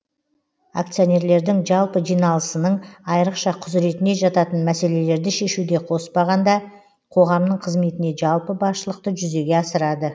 акционерлердің жалпы жиналасының айрықша құзыретіне жататын мәселелерді шешуді қоспағанда қоғамның қызметіне жалпы басшылықты жүзеге асырады